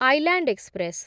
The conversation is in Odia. island express